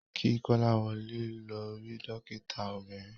Ki Kolawole lọ ri dokita obiririn.